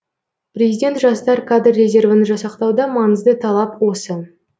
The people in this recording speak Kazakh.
президент жастар кадр резервін жасақтауда маңызды талап осы